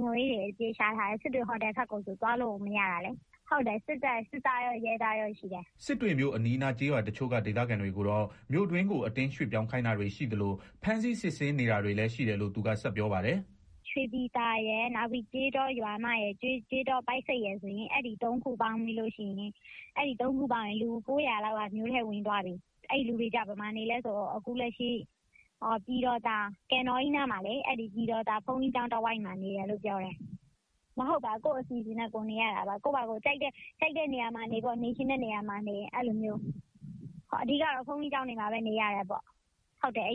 ခြုံရေး အပြည့် ချထားတယ် စစ်တွေ ဟိုတည်ဘက်ကို သွားလို့ကိုမရတာ စစ်သားရော ရဲသားရောရှိတယ်။” စစ်တွေမြို့အနီးအနားကျေးရွာတချို့က ဒေသခံတွေကိုတော့ မြို့တွင်းကို အတင်းရွှေ့ပြောင်းခိုင်းတာတွေရှိသလို ဖမ်းဆီးစစ်ဆေးနေ တာတွေလည်းရှိတယ်လို့ သူကဆက်ပြောပါတယ်။ “ရွှေပြည်သာရယ် ကျေးတော ရွာမရယ် ကျေးတော ပိုက်ဆိပ်ရယ် အဲဒီသုံးရွာပေါင်း လူ ၉ဝဝ လောက်က မြို့ထဲဝင်သွားပြီ အဲလူတွေ ဘယ်မှာနေလဲ ဆိုတော့ အခုလက်ရှိ ပြည်တော်သာ ကန်တော်ကြီးနား ဘုန်းကြီးကျောင်းတဝှိုက်မှာ နေကြတယ်၊ ကိုယ့်အစီအစဉ်နဲ့ ကိုယ်နေရတာ ကိုယ့်ပါကို ကြိုက်တဲ့နေရာမှာနေ နေချင်တဲ့ နေရာမှာနေအဲလိုမျိုး အဓိကတော့ ဘုန်းကြီးကျောင်းတွေမှာ နေရတယ်ပေါ့ ရွာကတော့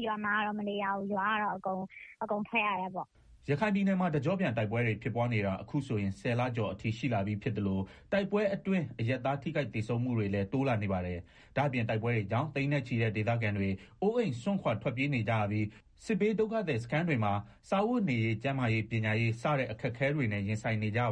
အကုန်ထွက်ရတယ်ပေါ့။” ရခိုင်ပြည်နယ်မှာ တကျော့ပြန်တိုက်ပွဲတွေ ဖြစ်ပွားနေတာ အခုဆိုရင် ၁ဝ လကျော်အထိ ရှိလာပြီးဖြစ်သလို တိုက်ပွဲအတွင်း အရပ်သားထိခိုက်သေဆုံးမှု တွေလည်းတိုးလာနေပါတယ်။ ဒါ့အပြင် တိုက်ပွဲတွေကြောင့် သိန်းနဲ့ချီတဲ့ ဒေသခံတွေ အိုးအိမ်စွန့်ခွာထွက်ပြေးနေကြရပြီး စစ်ဘေးဒုက္ခသည်မှာ စားဝတ်နေရေး ၊ကျန်းမာရေး ၊ပညာရေး စတဲ့ အခက်အခဲတွေနဲ့ ရင်ဆိုင်နေကြရပါ